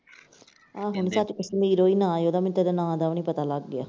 ਆਹੋ ਨੀ ਸੱਚ ਕਸ਼ਮੀਰੋ ਈ ਨਾਂ ਐ ਉਹਦਾ ਮੈਨੂੰ ਤੇ ਇਹਦੇ ਨਾਂ ਦਾ ਵੀ ਨਈਂ ਪਤਾ, ਲੱਗ ਗਿਆ।